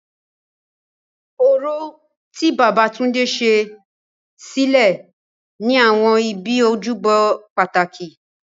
Orò, tí Babatunde ṣe, ṣẹlẹ̀ ní àwọn ibi ojúbọ pàtàkì.